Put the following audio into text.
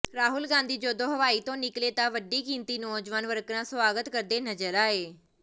ਰਾਹੁਲ ਗਾਂਧੀ ਜਦੋਂ ਹਵਾਈ ਤੋਂ ਨਿਕਲੇ ਤਾਂ ਵੱਡੀ ਗਿਣਤੀ ਨੌਜਵਾਨ ਵਰਕਰਾਂ ਸਵਾਗਤ ਕਰਦੇ ਨਜ਼ਰ ਆਏ